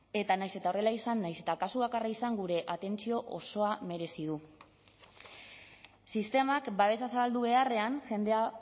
eta nahiz eta horrela izan nahiz eta kasu bakarra izan gure atentzio osoa merezi du sistemak babesa zabaldu beharrean jendea